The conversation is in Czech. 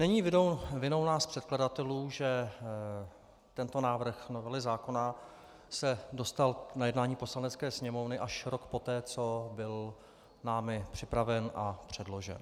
Není vinou nás předkladatelů, že tento návrh novely zákona se dostal na jednání Poslanecké sněmovny až rok poté, co byl námi připraven a předložen.